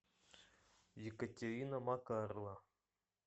екатерина макарова